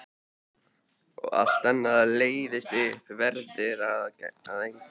Og allt annað leysist upp, verður að engu.